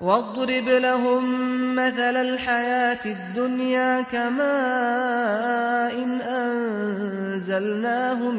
وَاضْرِبْ لَهُم مَّثَلَ الْحَيَاةِ الدُّنْيَا كَمَاءٍ أَنزَلْنَاهُ